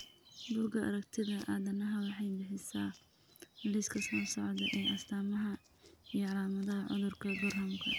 Bugaa aragtida aDdanaha waxay bixisaa liiska soo socda ee astamaha iyo calaamadaha cudurka Gorhamka.